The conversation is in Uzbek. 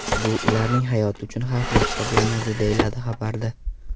Bu ularning hayoti uchun xavfli hisoblanadi”, deyiladi xabarda.